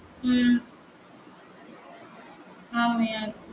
உம்